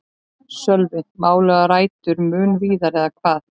Sölvi: Málið á rætur mun víðar eða hvað?